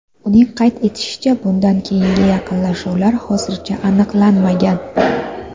Uning qayd etishicha, bundan keyingi yaqinlashuvlar hozircha aniqlanmagan.